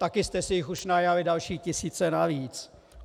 Taky jste si jich už najali další tisíce navíc.